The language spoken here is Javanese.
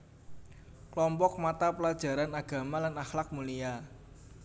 Klompok mata pelajaran agama lan akhlak mulia